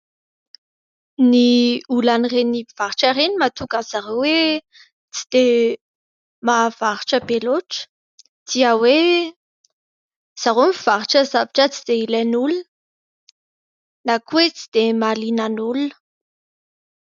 Ny olan'ireny mpivarotra ireny, mahatonga an'izy ireo hoe tsy dia mahavarotra be loatra, dia hoe izy ireo mivarotra zavatra tsy dia ilain'ny olona na koa hoe tsy dia mahaliana ny olona.